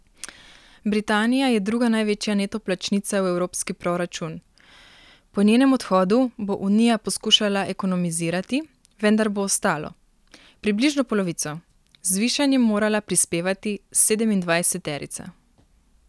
Britanija je druga največja neto plačnica v evropski proračun, po njenem odhodu bo Unija poskušala ekonomizirati, vendar bo ostalo, približno polovico, z zvišanjem morala prispevati sedemindvajseterica ...